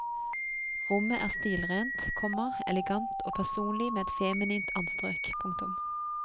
Rommet er stilrent, komma elegant og personlig med et feminint anstrøk. punktum